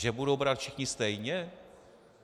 Že budou brát všichni stejně?